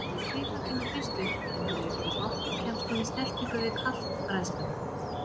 Þegar kvika kemur fyrst upp undir jökulbotn kemst hún í snertingu við kalt bræðsluvatn.